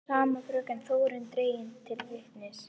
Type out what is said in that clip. Sama fröken Þórunn dregin til vitnis.